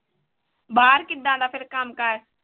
ਬਾਹਰ ਕਿੱਦਾਂ ਦਾ ਫਿਰ ਕੰਮ ਕਾਰ?